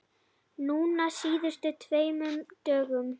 Núna á síðustu tveimur dögum.